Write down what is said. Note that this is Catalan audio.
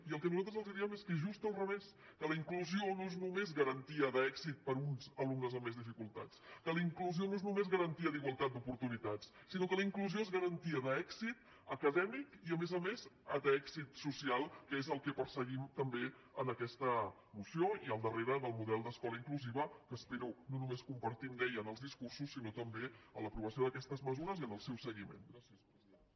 i el que nosaltres els diem és que és just al revés que la inclusió no és només garantia d’èxit per a uns alumnes amb més dificultats que la inclusió no és només garantia d’igualtat d’oportunitats sinó que la inclusió és garantia d’èxit acadèmic i a més a més d’èxit social que és el que perseguim també en aquesta moció i al darrere del model d’escola inclusiva que espero no només compartir ho deia en els discursos sinó també en l’aprovació d’aquestes mesures i en el seu seguiment